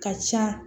Ka ca